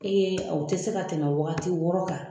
Ee aw te se ka tɛmɛ wagati wɔɔrɔ kan.